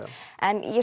en